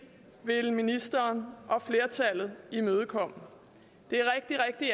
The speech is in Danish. ville ministeren og flertallet imødekomme det er rigtig rigtig